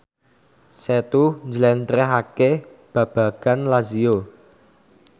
Setu njlentrehake babagan Lazio